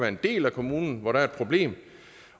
en del af kommunen hvor der er et problem